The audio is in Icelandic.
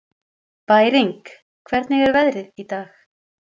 Bæring, hvernig er veðrið í dag?